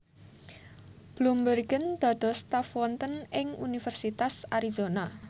Bloembergen dados staf wonten ing Universitas Arizona